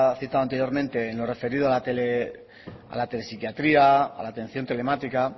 citado anteriormente en lo referido a la telepsiquiatría a la atención telemática